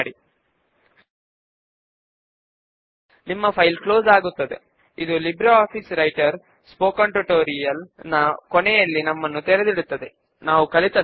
క్రింది sub form refresh అయి books to be returned చూపిస్తున్నది అని మీరు గమనించవచ్చు